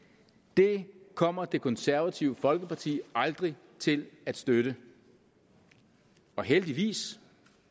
det kommer det konservative folkeparti aldrig til at støtte og heldigvis